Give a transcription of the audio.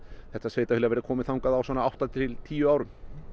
þetta sveitarfélag verði komið þangað á svona átta til tíu árum